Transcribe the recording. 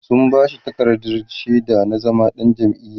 sun bashi takardar shaida na zama ɗan jam'iya